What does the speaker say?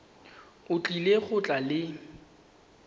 o tlile go tla le